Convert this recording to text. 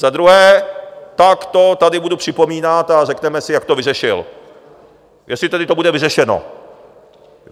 Za druhé - tak to tady budu připomínat a řekneme si, jak to vyřešil, jestli tedy to bude vyřešeno.